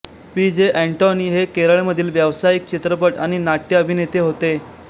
P J Antony हे केरळमधील व्यावसायिक चित्रपट आणि नाट्यअभिनेते होते